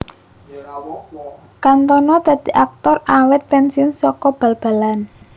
Cantona dadi aktor awit pensiun saka bal balan